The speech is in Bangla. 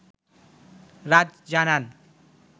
রাজ জানান